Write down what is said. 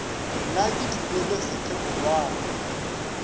nna ke tlile le sekgekolwana